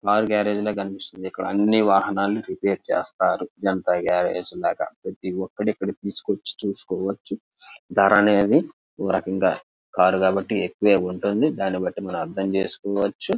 Car garage లాగా కనిపిస్తుంది. అన్ని వహణలని రిపేర్ చేస్తుంటారు. జనతా గారేజ్ లాగా. ప్రతి ఒకరు ఇక్కడికి వచ్చి చూసుకోవచ్చు. కార్ కాబట్టి ఎక్కువ గా ఉంటుంది. మనం అర్థం చేసుకోవచ్చు.